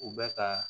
U bɛ ka